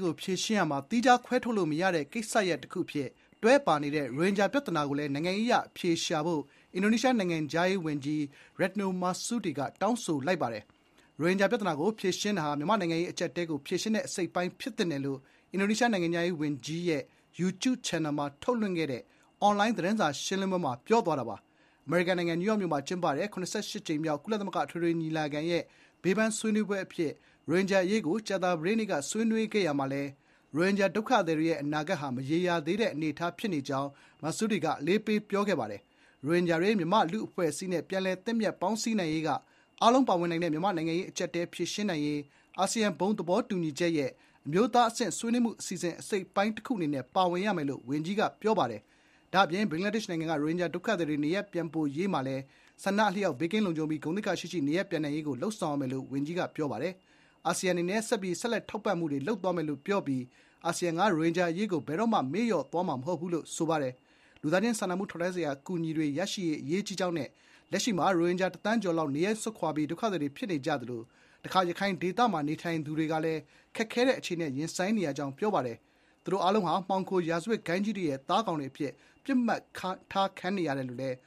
ကို ဖြေရှင်းရာမှာ သီးခြားခွဲထုတ်လို့မရတဲ့ ကိစ္စရပ်တခုအဖြစ် တွဲပါနေတဲ့ ရိုဟင်ဂျာပြဿနာကိုလည်း နိုင်ငံရေးအရအဖြေရှာဖို့ အင်ဒိုနီးရှားနိုင်ငံခြားရေးဝန်ကြီး Retno Marsudi က တောင်းဆိုလိုက်ပါတယ်။ “ရိုဟင်ဂျာပြဿနာကို ဖြေရှင်းတာဟာ မြန်မာ့နိုင်ငံရေး အကျပ်အတည်းကို ဖြေရှင်းတဲ့ အစိတ်အပိုင်း ဖြစ်သင့်ပါတယ်”လို့ အင်ဒိုနီးရှား နိုင်ငံခြားရေးဝန်ကြီးဌာနရဲ့ YouTube ချန်နယ်မှာ ထုတ်လွှင့်ခဲ့တဲ့ အွန်လိုင်း သတင်းစာရှင်းလင်းပွဲမှာ ဝန်ကြီး Marsudi က ပြောပါတယ်။ အမေရိကန်နိုင်ငံ နယူးယောက်မြို့မှာ ကျင်းပတဲ့ (၇၈)ကြိမ်မြောက် ကုလသမဂ္ဂ အထွေထွေညီလာခံရဲ့ ဘေးပန်း ဆွေးနွေးပွဲအဖြစ် ရိုဟင်ဂျာအရေးကို ကြာသပတေးနေ့က ဆွေးနွေးရာမှာလည်း ရိုဟင်ဂျာဒုက္ခသည်တွေရဲ့ အနာဂတ်ဟာ မရေရာသေးတဲ့ အနေအထားအဖြစ် Marsudi က အလေးပေး ပြောခဲ့ပါတယ်။ ရိုဟင်ဂျာတွေ မြန်မာ့လူ့အဖွဲ့အစည်းနဲ့ ပြန်လည်သင့်မြတ် ပေါင်းစည်းနိုင်ရေးက အားလုံးပါဝင်နိုင်တဲ့ မြန်မာ့နိုင်ငံရေး အကျပ်အတည်း ဖြေရှင်းနိုင်ရေး အာဆီယံ ဘုံသဘောတူညီချက်ရဲ့ အမျိုးသားအဆင့်ဆွေးနွေးမှု အစီအစဉ်အစိတ်အပိုင်း တခုအနေနဲ့ ပါဝင်ရမယ်လို့ ဝန်ကြီးက ပြောပါတယ်။ ဒါ့အပြင် ဘင်္ဂလားဒေ့ရှ်နိုင်ငံကနေ ရိုဟင်ဂျာဒုက္ခသည်တွေ နေရပ်ပြန်ပို့ရေးမှာလည်း ဆန္ဒအလျောက် ဘေးကင်းလုံခြုံပြီး ဂုဏ်သိက္ခာရှိရှိ နေရပ်ပြန်နိုင်ရေးကိုပဲ လုပ်ဆောင်ရမယ်လို့ ဝန်ကြီးက အလေးပေးပြောပါတယ်။ “အာဆီယံ အနေနဲ့ ဆက်ပြီး ဆက်လက်ထောက်ပံ့မှုတွေ လုပ်သွားမယ်လို့ ပြောပြီး အာဆီယံက ရိုဟင်ဂျာအရေးကို ဘယ်တော့မှ မေ့လျော့ထားမှာ မဟုတ်ဘူး” လို့လည်း ပြောပါတယ်။လူသားချင်း စာနာထောက်ထားမှုဆိုင်ရာ အကူအညီတွေရရှိရေးက အရေးကြီးကြောင်းနဲ့ “လက်ရှိမှာ ရိုဟင်ဂျာ တစ်သန်းကျော်လောက် နေရပ်စွန့်ခွာပြီး ဒုက္ခသည်တွေ ဖြစ်နေကြသလို တခါ ရခိုင်ဒေသမှာ နေထိုင်တဲ့ သူတွေကလည်း ခက်ခဲတဲ့ အခြေအနေနဲ့ ရင်ဆိုင်နေရပါတယ်။ သူတို့ အားလုံးဟာ မှောင်ခို ရာဇဝတ်ဂိုဏ်းကြီးတွေရဲ့ သားကောင်တွေအဖြစ် ပစ်မှတ်ထားခံနေရတယ်လို့လည်း